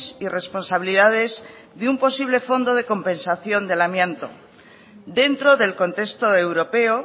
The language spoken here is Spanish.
y responsabilidades de un posible fondo de compensación del amianto dentro del contexto europeo